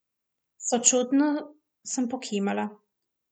Sočutno sem pokimala.